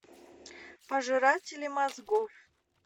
пожиратели мозгов